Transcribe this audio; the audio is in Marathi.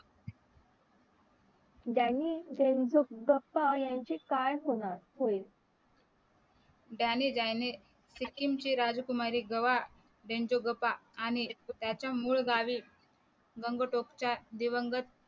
डॅनी डेंझोनगपा यांचे काय होणार होय डॅनी डॅनी सिक्कीमचे राजकुमारी गवा डेंझोगोपा आणि याच्या मुल गावी गंगोटोकच्या दिवंगत